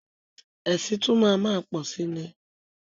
Ẹ̀sìn tún máa má pọ̀si ni.